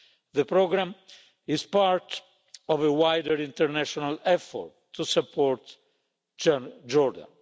The programme is part of a wider international effort to support Jordan.